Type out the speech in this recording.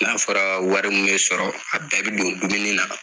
N'a fɔra wari mun bɛ sɔrɔ, a bɛɛ bɛ don dumuni na.